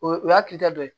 O ye o y'a kilita dɔ ye